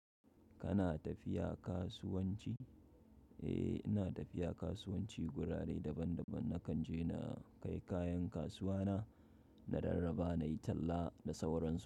Kana tafiya kasuwanci? Eh, ina tafiya kasuwanci gurare daban daban nakan je na kai kayan kasuwa na, na rarraba nayi talla da sauransu.